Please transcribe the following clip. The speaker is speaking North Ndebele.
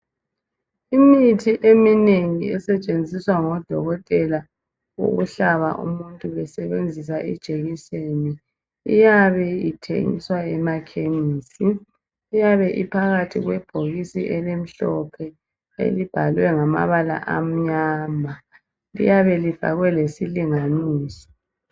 Imithi eminengi esetshenziswa ngodokotela ukuhlaba umuntu besebenzisa ijekiseni, iyabe ithengiswa emakhemisi. Iyabe iphakathi kwebhokisi elimhlophe, elibhalwe ngamabala amnyama. Liyabelifakwe lesilinganiso.